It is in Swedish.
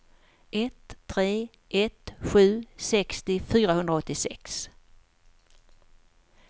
ett tre ett sju sextio fyrahundraåttiosex